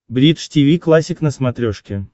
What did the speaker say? бридж тиви классик на смотрешке